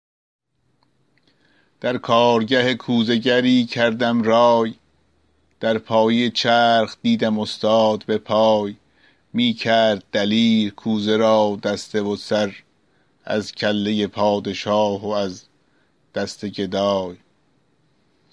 در کارگه کوزه گری کردم رای در پایه چرخ دیدم استاد به پای می کرد دلیر کوزه را دسته و سر از کله پادشاه و از دست گدای